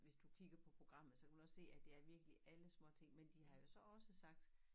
Hvis du kigger på programmet så kan du også se at det er virkelig alle småting men de har jo så også sagt